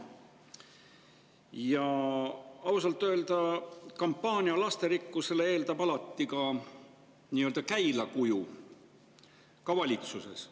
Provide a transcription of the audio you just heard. Ja ausalt öeldes lasterikkuse kampaania eeldab alati käilakuju, ka valitsuses.